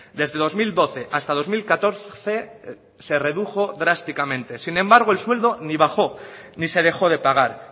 desde dos mil doce hasta dos mil catorce se redujo drásticamente sin embargo el sueldo ni bajo ni se dejó de pagar